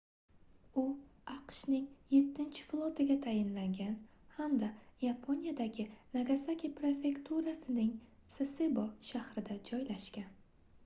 u aqshning yettichi flotiga tayinlangan hamda yaponiyadagi nagasaki prefekturasining sasebo shahrida joylashgan